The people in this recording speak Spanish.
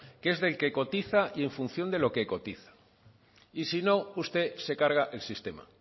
que es del que cotiza y en función de lo que cotiza y si no usted se carga el sistema